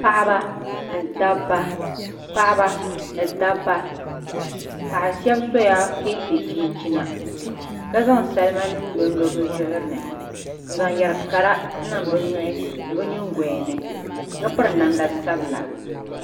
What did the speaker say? Paɣaba ni dabba paɣa shab sola kɛntɛ chinchina ka zaŋ salima nim lonlo bi zuɣuri ni n zaŋ yɛri kara niŋ bi nuhi ni bi nyingoya ni ka piri namda sabila